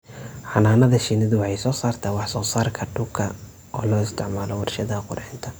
Xannaanada shinnidu waxay soo saartaa wax soo saarka dhuka oo loo isticmaalo warshadaha qurxinta.